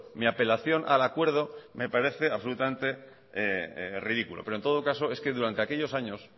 mi apelación al acuerdo me parece absolutamente ridículo pero en todo caso es que durante aquellos años